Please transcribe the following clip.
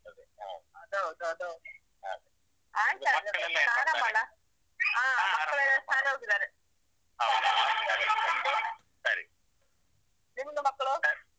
ಅದು ಹೌದು, ಅದು ಹೌದು ಆಯ್ತು ಹಾಗಾದ್ರೆ ಮಕ್ಕಳೆಲ್ಲಾ ಶಾಲೆ ಹೋಗಿದ್ದಾರೆ ನಿಮ್ದು ಮಕ್ಕಳು?